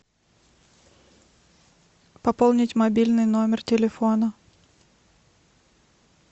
пополнить мобильный номер телефона